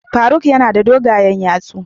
Faruk yana da dogayen yatsu.